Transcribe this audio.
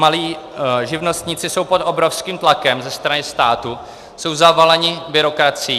Malí živnostníci jsou pod obrovským tlakem ze strany státu, jsou zavaleni byrokracií.